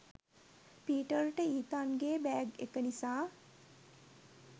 පීටර්ට ඊතන්ගේ බෑග් එක නිසා